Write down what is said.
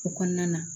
O kɔnɔna na